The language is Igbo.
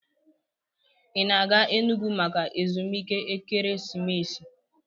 Ị na-aga Enugwu maka ezumike ekeresimesi?